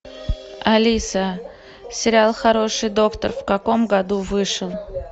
алиса сериал хороший доктор в каком году вышел